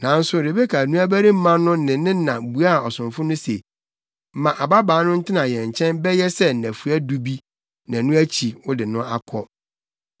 Nanso Rebeka nuabarima no ne ne na buaa ɔsomfo no se, “Ma ababaa no ntena yɛn nkyɛn bɛyɛ sɛ nnafua du bi, na ɛno akyi, wode no akɔ.”